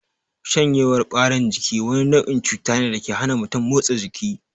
Shanyewar ɓarin jiki wani nau'in cuta ne dake hana mutum motsa jiki